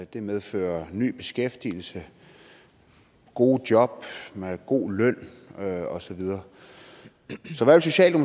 det medfører ny beskæftigelse gode job god løn og så videre